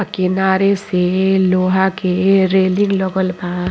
अ किनारे से लोहा के रेलिंग लगल बा।